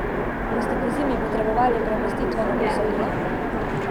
Boste pozimi potrebovali premostitveno posojilo?